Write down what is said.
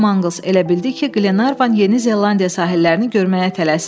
Con Mangls elə bildi ki, Glenarvan Yeni Zelandiya sahillərini görməyə tələsir.